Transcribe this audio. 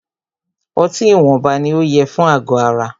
Ọtí ìwọnba ní o yẹ fún àgọ ara.